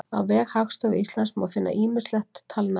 á vef hagstofu íslands má finna ýmislegt talnaefni